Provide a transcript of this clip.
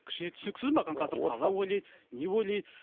кішкене түсініксіз маған қазір қалай ойлайды не ойлайды